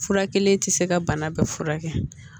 Fura kelen tɛ se ka bana bɛɛ furakɛ